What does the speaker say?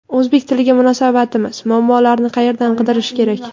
O‘zbek tiliga munosabatimiz: muammolarni qayerdan qidirish kerak?.